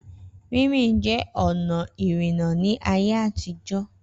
Rínrìn jẹ́ ọ̀nà ìrìnnà ní ayé àtijọ́.